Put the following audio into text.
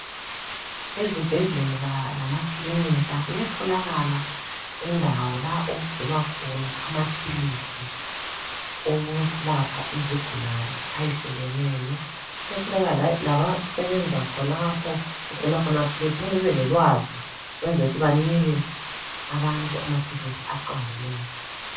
Ezibhedlela lemakilinika kuyatholakala indawo lapho okugcinwa khona amaphilisi awokulapha izigulane ayehlukeneyo. Kuyatholakala labasebenza khonapho okugcinwa khona amaphilisi kumele babelolwazi kwenzela ukuthi banike abantu amaphilisi aqondileyo.